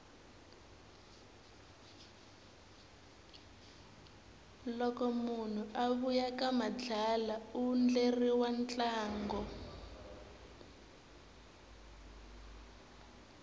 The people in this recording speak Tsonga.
loko munhu a vuya ka madlala undleriwa ntlango